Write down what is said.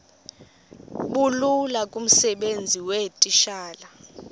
bulula kumsebenzi weetitshala